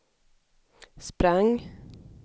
sprang